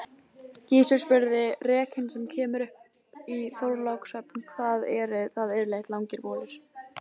Gizur spurði:-Rekinn sem kemur upp í Þorlákshöfn, hvað eru það yfirleitt langir bolir?